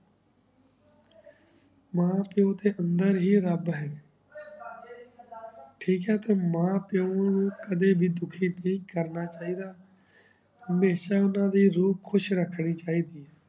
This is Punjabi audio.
ਮਾਂ ਪੀਏਓ ਤੇ ਅੰਦਰ ਹੀ ਰਾਬ ਹੈ ਓਏ ਬਾਬੀ ਦੀ ਮਦਦ ਟਾਕ ਹੈ ਤਾਵਾਨੁ ਮਾਂ ਪੀਏਓ ਨੂ ਕਦੇ ਵੀ ਦੁਖੀ ਨਾਈ ਕਰਨਾ ਚਾਹੀ ਦਾ ਹਮਾਯ੍ਸ਼ਾ ਓਨਾ ਦੀ ਰੁਉ ਖੁਸ਼ ਰਖਨੀ ਚਾਹੀ ਦੀ ਆਯ